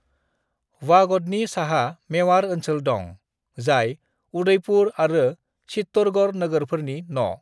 "वागडनि साहा मेवाड़ ओनसोल दं, जाय उदयपुर आरो चित्तौड़गढ़ नोगोरफोरनि न'।"